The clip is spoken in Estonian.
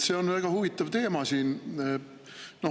See on väga huvitav teema.